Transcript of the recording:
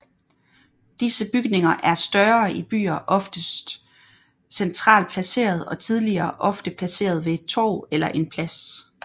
Disse bygninger er i større byer oftest centralt placeret og tidligere ofte placeret ved et torv eller en plads